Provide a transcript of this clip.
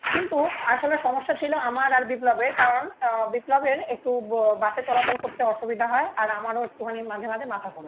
কিন্তু আসলে সমস্যা ছিল আমার আর বিপ্লবের কারণ আহ বিপ্লবের একটু বাসে চলাচল করতে অসুবিধা হয় আর আমারও একটুখানি মাঝে মাঝে মাথা ঘোরে